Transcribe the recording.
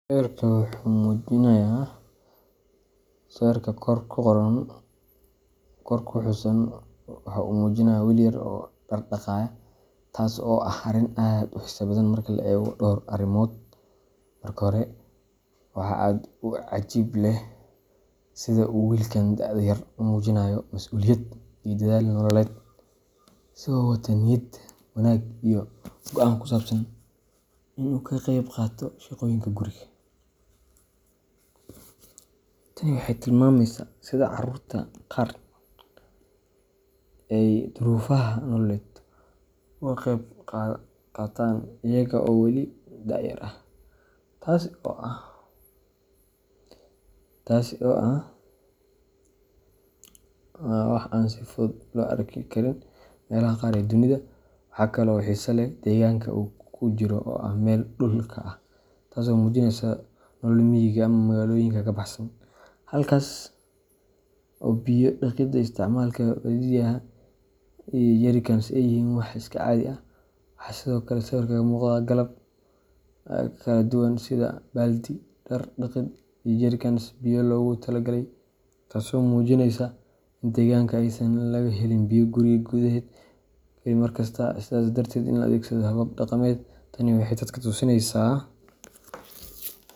Sawirka kor ku xusan waxa uu muujinayaa wiil yar oo dhar dhaqaya, taasoo ah arrin aad u xiiso badan marka la eego dhowr arrimood. Marka hore, waxaa aad u cajaa’ib leh sida uu wiilkan da'da yar u muujinayo masuuliyad iyo dadaal nololeed, isagoo wata niyad wanaag iyo go’aan ku saabsan in uu ka qeyb qaato shaqooyinka guriga. Tani waxay tilmaamaysaa sida carruurta qaar ay duruufaha nololeed uga qayb qaataan iyaga oo weli da’yar ah, taasoo ah wax aan si fudud loo arki karin meelaha qaar ee dunida. Waxaa kale oo xiiso leh deegaanka uu ku jiro oo ah meel dhulka ah, taasoo muujinaysa nolol miyiga ama magaalooyinka ka baxsan, halkaas oo biyo dhaqidda iyo isticmaalka baaldiyada iyo jerry cans ay yihiin wax iska caadi ah. Waxaa sidoo kale sawirka ka muuqda qalab kala duwan sida baaldi, dhar dhaqid iyo jerry cans biyo loogu talagalay, taasoo muujinaysa in deegaanka aysan laga helin biyo guri gudaheed ah oo la heli karo mar kasta, sidaas darteedna la adeegsado habab dhaqameed. Tani waxay dadka tusinaysaa.